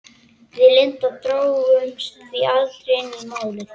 Við Linda drógumst því aldrei inn í Málið.